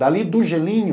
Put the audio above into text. Dali do gelinho...